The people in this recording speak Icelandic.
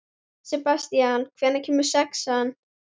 Sebastían, hvenær kemur sexan?